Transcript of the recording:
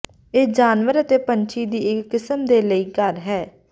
ਇਹ ਜਾਨਵਰ ਅਤੇ ਪੰਛੀ ਦੀ ਇੱਕ ਕਿਸਮ ਦੇ ਲਈ ਘਰ ਹੈ